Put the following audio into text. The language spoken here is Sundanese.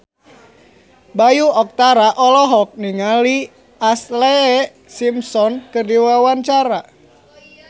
Bayu Octara olohok ningali Ashlee Simpson keur diwawancara